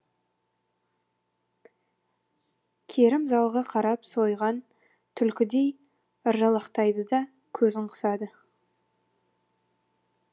керім залға қарап сойған түлкідей ыржалақтайды да көзін қысады